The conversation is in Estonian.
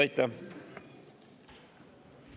Aitäh!